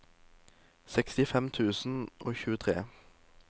sekstifem tusen og tjuetre